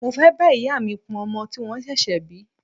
Mo fẹ́ bá ìyá mi pọn ọmọ tí wọ́n ṣẹ̀ṣẹ̀ bí.